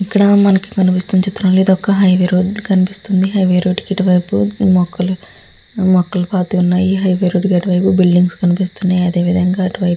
ఇక్కడ మనకి కనిపిస్తున్న చిత్రంలో ఇదొక ఒక హైవే రోడ్డు కనిపిస్తుంది. హైవే రోడ్డు కి ఇటువైపు మొక్కలు మొక్కలు పార్టీ ఉన్నాయి. హైవే రోడ్డు కట్టవైపు బిల్డింగ్ కనిపిస్తున్నాయి. అదేవిధంగా అటు సైడ్ --